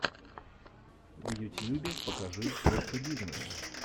в ютьюбе покажи простобизнесс